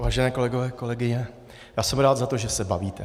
Vážení kolegové, kolegyně, já jsem rád za to, že se bavíte.